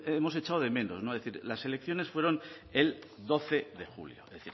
hemos echado de menos es decir las elecciones fueron el doce de julio es